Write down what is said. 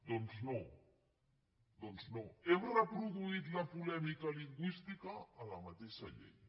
doncs no doncs no hem reproduït la polèmica lingüística a la matei·xa llei